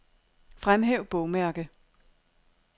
Fremhæv bogmærke.